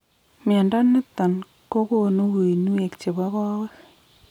Mnyondo niton kogonu uinwek chebo koweg